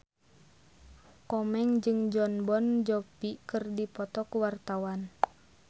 Komeng jeung Jon Bon Jovi keur dipoto ku wartawan